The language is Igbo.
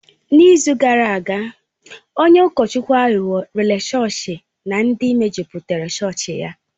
N'izu gara aga, onye ụkọchukwu aghụghọ rèré chọọchị na ndị mejupụtara chọọchị ya.